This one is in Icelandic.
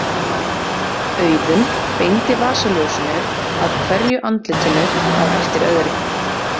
Auðunn beindi vasaljósinu að hverju andlitinu á eftir öðru.